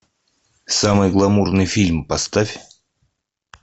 самый гламурный фильм поставь